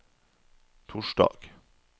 torsdag